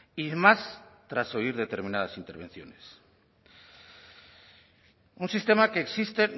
y más tras oír determinadas intervenciones un sistema que existe